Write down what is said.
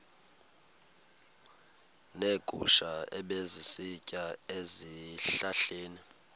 neegusha ebezisitya ezihlahleni